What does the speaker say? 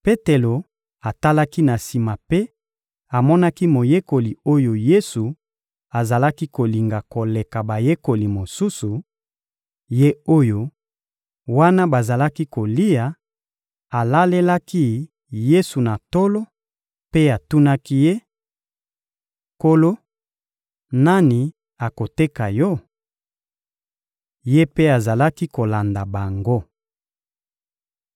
Petelo atalaki na sima mpe amonaki moyekoli oyo Yesu azalaki kolinga koleka bayekoli mosusu, ye oyo, wana bazalaki kolia, alalelaki Yesu na tolo mpe atunaki Ye: «Nkolo, nani akoteka Yo?» Ye mpe azalaki kolanda bango.